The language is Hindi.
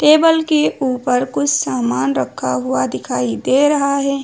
टेबल के ऊपर कुछ सामान रखा हुआ दिखाई दे रहा है।